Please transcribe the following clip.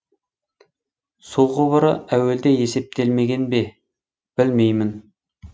су құбыры әуелде есептелмеген бе білмеймін